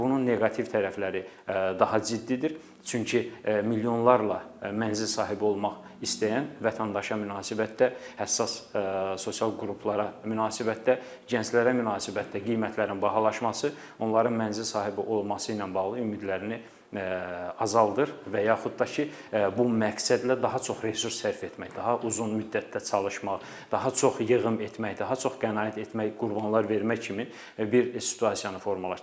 Bunun neqativ tərəfləri daha ciddidir, çünki milyonlarla mənzil sahibi olmaq istəyən vətəndaşa münasibətdə həssas sosial qruplara münasibətdə, gənclərə münasibətdə qiymətlərin bahalaşması onların mənzil sahibi olması ilə bağlı ümidlərini azaldır və yaxud da ki, bu məqsədlə daha çox resurs sərf etmək, daha uzun müddətdə çalışmaq, daha çox yığım etmək, daha çox qənaət etmək, qurbanlar vermək kimi bir situasiyanı formalaşdırır.